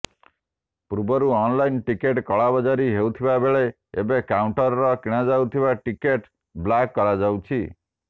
ପୂର୍ବରୁ online ticket କଳାବଜାରୀ ହୋଇଥିବା ବେଳେ ଏବେ କାଉଣ୍ଟରର କିଣାଯାଇଥିବା ଟିକଟ ବ୍ଲାକ୍ କରାଯାଇଛି